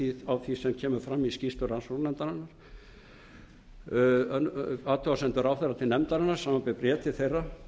því á því sem kemur fram í skýrslu rannsóknarnefndarinnar athugasemdir ráðherra til nefndarinnar samanber bréf til þeirra